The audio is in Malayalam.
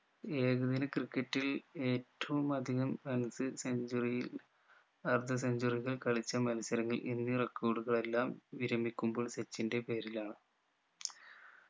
ഏകദിന ക്രിക്കറ്റിൽ ഏറ്റവും അധികം runs centuary യും അർദ്ധ centuary കൾ കളിച്ച മത്സരങ്ങൾ എന്നീ record കളെല്ലാം വിരമിക്കുമ്പോൾ സച്ചിന്റെ പേരിലാണ്